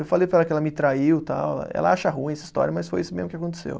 Eu falei para ela que ela me traiu, tal, ela acha ruim essa história, mas foi isso mesmo que aconteceu.